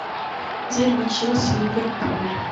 дерби челси ливерпуль